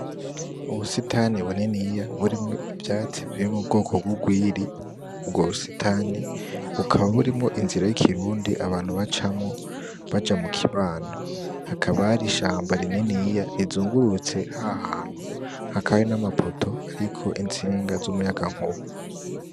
Ubusitani bininiya burimwo ivyatsi biri mu bwoko rw'urwiri ,ubwo busitani bukaba burimwo inzira yikirundi abantu bacamwo baja mu kibano ,hakaba hari ishamba rininiya rizungurutse ahantu hakaba hari nama poto ariko intsinga z'umuyaga nkuba .